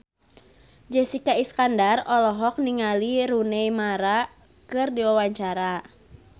Jessica Iskandar olohok ningali Rooney Mara keur diwawancara